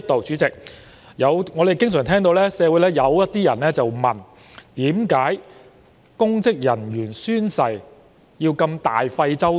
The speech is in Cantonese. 主席，我們經常聽到社會上有些人問：為何公職人員宣誓要這麼大費周章？